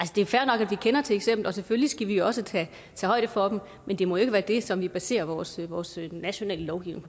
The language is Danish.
det er fair nok at vi kender til eksempler og selvfølgelig skal vi også tage højde for dem men det må jo ikke være det som vi baserer vores vores nationale lovgivning